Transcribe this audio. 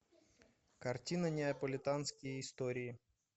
картина неаполитанские истории